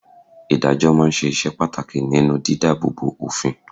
Ìdájọ́ máa ń ṣe iṣẹ́ pàtàkì nínú di dáàbò bo òfin.